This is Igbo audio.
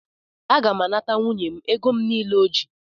Aga m anata nwunye m ego m nile o ji